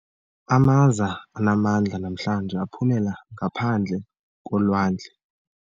Amaza anamandla namhlanje aphumela ngaphandle kolwandle.